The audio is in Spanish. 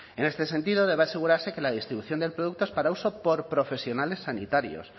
en este sentido debe asegurarse que la distribución del producto es para uso por profesionales sanitarios